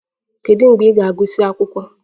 Kedu mgbe ị ga-agụsị akwụkwọ?